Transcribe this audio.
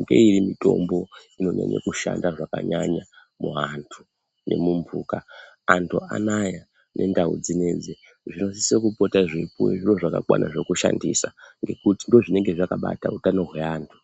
ngeiri mitombo inokone kushanda zvakanyanya muantu nemumbuka, antu anaya nendau dzinedzi zvinosiso kupota zveipuwe zviro zvakakwana zvekushandisa ngekuti ndizvo zvinenge zvakabata utano hweantu.